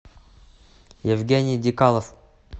евгений дикалов